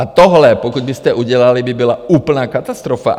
A tohle pokud byste udělali, by byla úplná katastrofa.